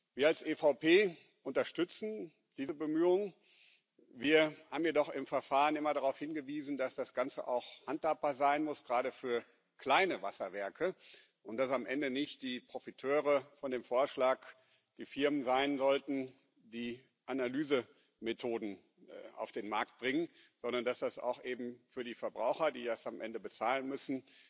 Wir als EVP unterstützen diese Bemühung, wir haben jedoch im Verfahren immer darauf hingewiesen, dass das Ganze auch handhabbar sein muss, gerade für kleine Wasserwerke, und dass am Ende nicht die Profiteure des Vorschlags die Firmen sein sollten, die Analysemethoden auf den Markt bringen, sondern dass das eben auch für die Verbraucher, die das am Ende bezahlen müssen,